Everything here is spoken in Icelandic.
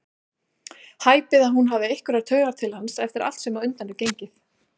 Hæpið að hún hafi einhverjar taugar til hans eftir allt sem á undan er gengið.